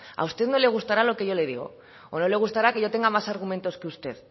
a usted no le gustará lo que yo le digo o no le gustará que yo tenga más argumentos que usted